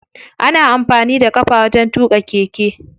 Ana amfani da ƙafa wajen tuƙa keke.